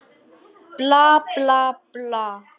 Bla, bla, bla.